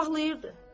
Ağlayırdı.